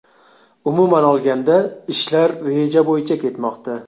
Umuman olganda ishlar reja bo‘yicha ketmoqda.